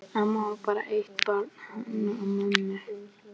Amma á bara eitt barn, hana mömmu.